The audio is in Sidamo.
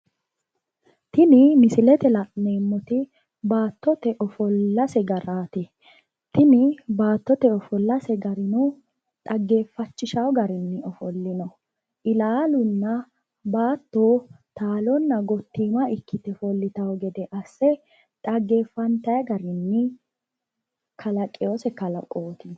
Tini misilete la'neemmoti baattote ofollase garaati. Tini baattote ofollase garino dhaggeeffachishawo garinni ofollino. Ilaalunna baatto taalonna gottiima ikkite ofollitawo gede asse dhaggeeffantayi garinni kalaqiwose kalaqooti.